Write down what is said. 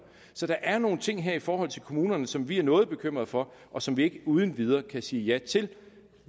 så der er nogle ting her i forhold til kommunerne som vi er noget bekymrede for og som vi ikke uden videre kan sige ja til